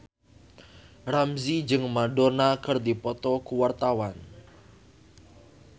Ramzy jeung Madonna keur dipoto ku wartawan